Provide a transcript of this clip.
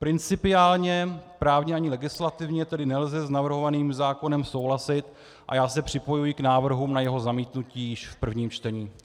Principiálně právně ani legislativně tedy nelze s navrhovaným zákonem souhlasit, a já se připojuji k návrhům na jeho zamítnutí již v prvém čtení.